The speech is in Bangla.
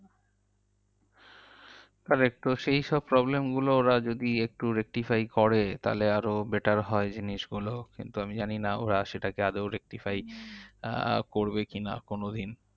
Correct তো সেইসব problem গুলো ওরা যদি একটু rectify করে তাহলে আরও better হয় জিনিসগুলো। কিন্তু আমি জানিনা ওরা সেটাকে আদেও rectify আহ করবে কি না কোনোদিন?